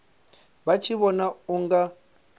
vha tshi vhona u nga